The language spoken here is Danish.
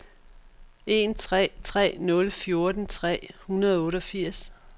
en tre tre nul fjorten tre hundrede og otteogfirs